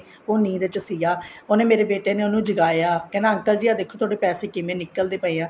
ਉਹ ਨੀਂਦ ਚ ਸੀਗਾ ਉਹਨੇ ਮੇਰੇ ਬੇਟੇ ਨੇ ਉਹਨੂੰ ਜਗਾਇਆ ਉਹ ਕਹਿੰਦਾ uncle ਜੀ ਦੇਖੋ ਤੁਹਾਡੇ ਪੈਸੇ ਕਿਵੇ ਨਿਕਲਦੇ ਪਏ ਆ